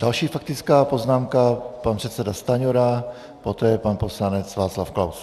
Další faktická poznámka - pan předseda Stanjura, poté pan poslanec Václav Klaus.